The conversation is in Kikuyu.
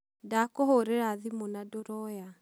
Ndakũhũrĩra thimũ na ndũroya.